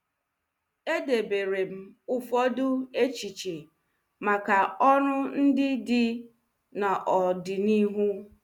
Edebere m ụfọdụ echiche maka ọrụ ndị dị n’ọdịnihu.